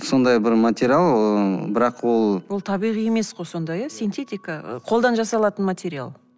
сондай бір материал ыыы бірақ ол ол табиғи емес қой сонда иә синтетика і қолдан жасалатын материал